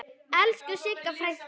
Elsku Sigga frænka.